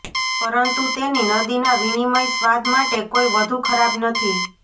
પરંતુ તેની નદીના વિનિમય સ્વાદ માટે કોઈ વધુ ખરાબ નથી